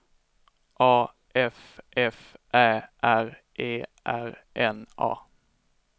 A F F Ä R E R N A